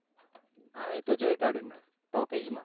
હા એતો જોઈ કાડ્યું મેં ટોકીજ માં